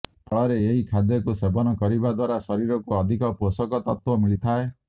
ଫଳରେ ଏହି ଖାଦ୍ୟକୁ ସେବନ କରିବା ଦ୍ବାରା ଶରୀରକୁ ଅଧିକ ପୋଷକ ତତ୍ତ୍ବ ମିଳିଥାଏ